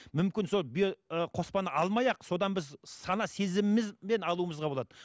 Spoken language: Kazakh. мүмкін сол биоқоспаны алмай ақ содан біз сана сезімімізбен алуымызға болады